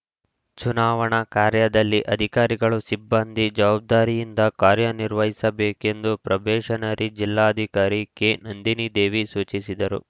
ಚುನಾವಣಾ ಕಾರ್ಯದಲ್ಲಿ ಅಧಿಕಾರಿಗಳು ಸಿಬ್ಬಂದಿ ಜವಾಬ್ದಾರಿಯಿಂದ ಕಾರ್ಯ ನಿರ್ವಹಿಸಬೇಕೆಂದು ಪ್ರೊಬೆಷನರಿ ಜಿಲ್ಲಾಧಿಕಾರಿ ಕೆನಂದಿನಿದೇವಿ ಸೂಚಿಸಿದರು